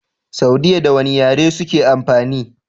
Saudiya da wane yare suke amfani?